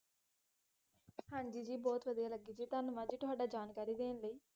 ਹਾਂਜੀ ਜੀ, ਬਹੁਤ ਵਧਿਆ ਲੱਗੀ ਜੀ ਧੰਨਵਾਦ ਜੀ ਤੁਹਾਡਾ ਜਾਣਕਾਰੀ ਦੇਣ ਲਈ